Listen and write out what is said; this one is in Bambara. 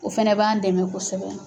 O fana b'an dɛmɛ kosɛbɛ.